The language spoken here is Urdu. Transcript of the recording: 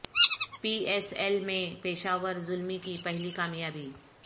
پی ایس ایل میں پشاور زلمی کی پہلی کامیابی